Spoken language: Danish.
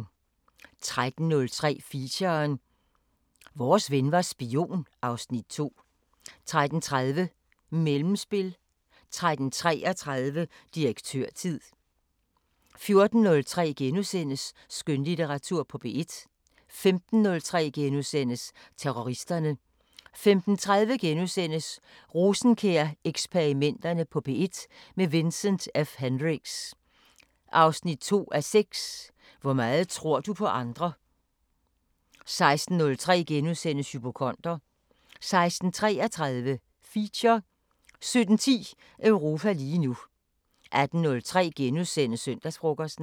13:03: Feature: Vores ven var spion (Afs. 2) 13:30: Mellemspil 13:33: Direktørtid 14:03: Skønlitteratur på P1 * 15:03: Terroristerne * 15:30: Rosenkjær-eksperimenterne på P1 – med Vincent F Hendricks: 2:6 Hvor meget tror du på andre? * 16:03: Hypokonder * 16:33: Feature 17:10: Europa lige nu 18:03: Søndagsfrokosten *